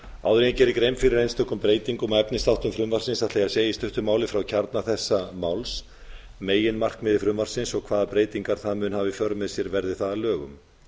áður en ég geri grein fyrir einstökum breytingum og efnisþáttum frumvarpsins ætla ég að segja í stuttu máli frá kjarna þessa máls meginmarkmiði frumvarpsins og hvaða breytingar það mun hafa í för með sér verði það að lögum